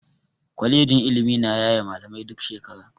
Kwalejin ilimi na yaye malamai duk shekara.